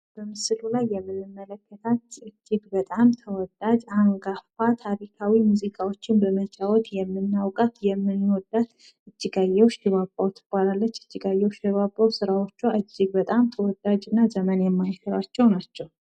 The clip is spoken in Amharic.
በምስሉ ላይ የምንመለከታት እጅግ በጣም ተወዳጅ አጋፋ ታሪካዊ ሙዚቃዎችን በመጫወት የምናዉቃት የምንወዳት እጅጋየሁ ሽባባዉ ትባላለች። እጅጋየሁ ሽባባዉ ስራዎቿ እጅግ በጣም ተወዳጅ እና ዘመን የማይሽራቸዉ ናቸዉ።